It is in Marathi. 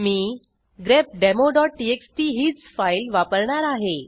मी grepdemoटीएक्सटी हीच फाईल वापरणार आहे